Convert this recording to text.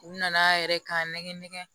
U nana a yɛrɛ k'a nɛgɛn nɛgɛn